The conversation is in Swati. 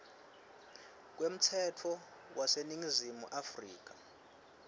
kwemtsetfo waseningizimu afrika